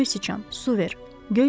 Göy siçan, su ver!